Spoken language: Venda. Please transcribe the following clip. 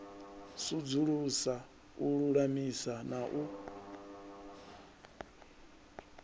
sudzulusa u lulamisa na u